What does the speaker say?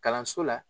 Kalanso la